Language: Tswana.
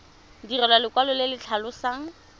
direlwa lekwalo le le tlhalosang